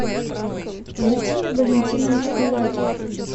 владимир валентинович палагин